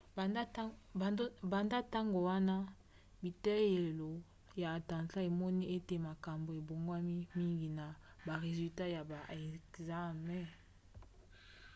banda na ntango wana biteyelo ya atlanta emoni ete makambo ebongwani mingi na ba resulat ya ba ekzame